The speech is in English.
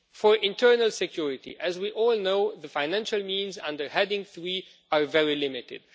For internal security, as we all know, the financial means under heading 3 are very limited.